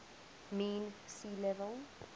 mean sea level